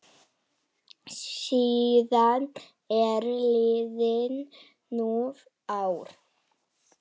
Síðan eru liðin níu ár.